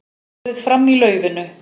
Borið fram í laufinu